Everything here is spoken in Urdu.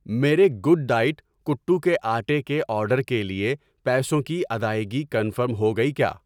میرے گوڈ ڈائٹ کٹو کے آٹے کے آرڈر کے لیے پیسوں کی ادائگی کنفرم ہو گئی کیا؟